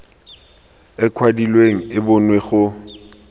e kwadilweng e bonwe go